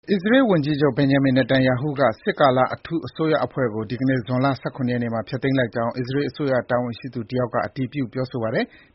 အစ္စရေးဝန်ကြီးချုပ် Benjamin Netanyahu က စစ်ကာလ အထူးအစိုးရအဖွဲ့ကို ဒီကနေ့ ဇွန်လ ၁၇ ရက်နေ့မှာ ဖျက်သိမ်းလိုက်ကြောင်း အစ္စရေးအစိုးရ တာဝန်ရှိသူ တယောက်က အတည်ပြု ပြောဆိုပါတယ်။